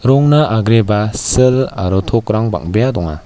agreba sil aro tokrang bang·bea donga.